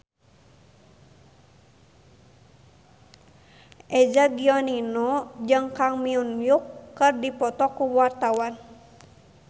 Eza Gionino jeung Kang Min Hyuk keur dipoto ku wartawan